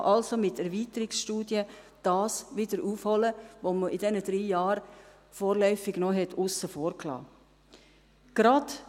Man kann also mit Erweiterungsstudien das wieder aufholen, was man in den drei Jahren vorläufig noch aussen vor gelassen hatte.